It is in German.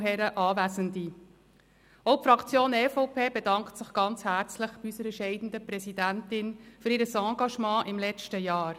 Auch die Fraktion EVP bedankt sich ganz herzlich bei unserer scheidenden Präsidentin für Ihr Engagement im letzten Jahr.